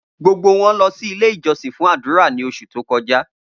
Gbogbo wọn lọ si Ile-ijọsin fun adura ni oṣu to kọja.